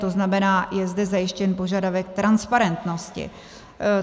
To znamená, je zde zajištěn požadavek transparentnosti.